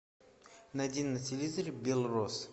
найди на телевизоре белрос